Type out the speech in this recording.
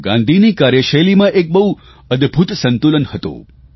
ગાંધીની કાર્યશૈલીમાં એક બહુ અદભૂત સંતુલન હતું